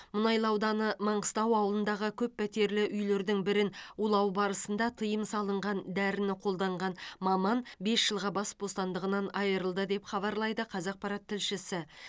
мұнайлы ауданы маңғыстау ауылындағы көппәтерлі үйлердің бірін улау барысында тыйым салынған дәріні қолданған маман бес жылға бас бостандығынан айырылды деп хабарлайды қазақпарат тілшісі